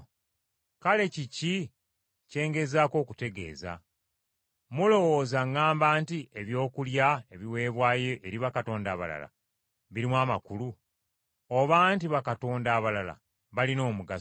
Kale kiki kye ngezaako okutegeeza? Mulowooza ŋŋamba nti ebyokulya ebiweebwayo eri bakatonda abalala birimu amakulu? Oba nti bakatonda abalala balina omugaso?